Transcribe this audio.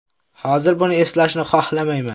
Hozir buni eslashni xohlamayman.